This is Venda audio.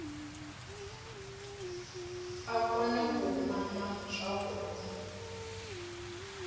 a kone u mama zwavhuḓi